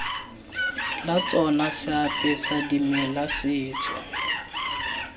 la tsona seapesa dimela setso